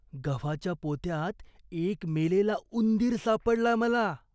गव्हाच्या पोत्यात एक मेलेला उंदीर सापडला मला.